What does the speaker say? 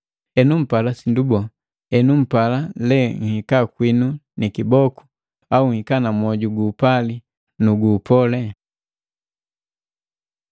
Henu mpala sindu bole? Enu mpala le nhika kwinu ni kiboko au nhika na mwoju guupali nu guupole?